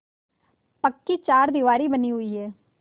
पक्की चारदीवारी बनी हुई है